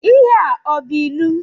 Ihe a ọ bú ịlụ?